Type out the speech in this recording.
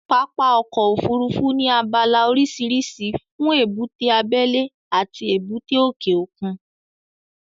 Pápá ọkọ̀ Òfurufú ní abala oríṣiríṣi fún èbúté abẹ́lẹ́ àti èbúté òkè òkun